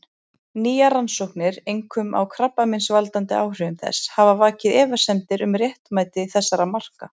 Nýjar rannsóknir, einkum á krabbameinsvaldandi áhrifum þess, hafa vakið efasemdir um réttmæti þessara marka.